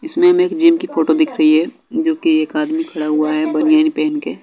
इसमें हमें एक जिम की फोटो दिख री है जो कि एक आदमी खरा हुआ है बनियेन पेहेन के।